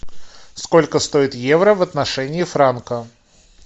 сколько стоит евро в отношении франка